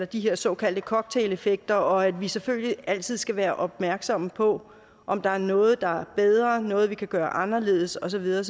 de her såkaldte cocktaileffekter og at vi selvfølgelig altid skal være opmærksomme på om der er noget der er bedre om noget vi kan gøre anderledes og så videre